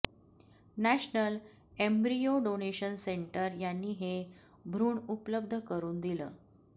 national embryo donation centre यांनी हे भ्रूण उपलब्ध करून दिलं